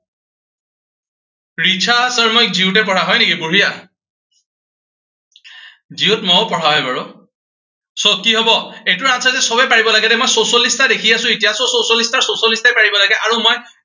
নিশা Sharma, GU তে পঢ়া, হয় নেকি, বঢ়িয়া। GU ত মইও পঢ়া হয় বাৰু। so কি হব, এইটোৰ answer যে সৱেই পাৰিব লাগে দেই। মই চৌচল্লিশ টা দেখি আছো এতিয়া। so চৌচল্লিশটাৰ ছৌচল্লিশটাই পাৰিব লাগে। আৰু মই